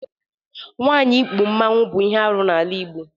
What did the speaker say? Nwaanyị íkpù Mmanwu bụ ihe arụ n'ala Igbo.